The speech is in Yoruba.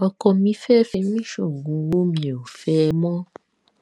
ọkọ mi fẹẹ fi mí sóògùn ọwọ mi ò fẹ ẹ mọ